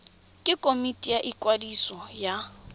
ke komiti ya ikwadiso ya